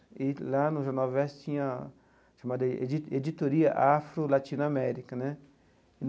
E lá no Jornal Versus tinha a chamada edi Editoria Afro-Latino-América né.